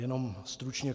Jenom stručně.